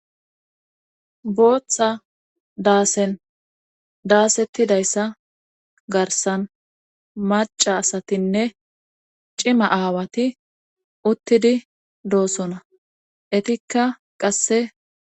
Booththa daasen daasettidayssa garsan maca asatinne cima aawati uttidi doosona etikka qasse.